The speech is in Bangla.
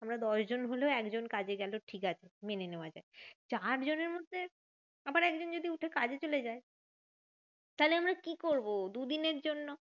আমরা দশজন হলো একজন কাজে গেলো ঠিকাছে মেনে নেওয়া যায়। চার জনের মধ্যে আবার একজন যদি উঠে কাজে চলে যায় তাহলে আমরা কি করবো? দুদিনের জন্য